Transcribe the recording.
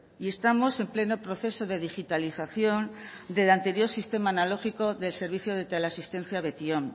y estamos en pleno proceso de digitalización del anterior sistema analógico del servicio de teleasistencia betion